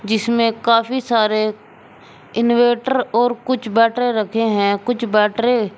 इसमें काफी सारे इनवेर्टर और कुछ बैटरे रखे हैं कुछ बैटरे--